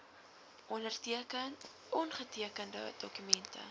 onderteken ongetekende dokumente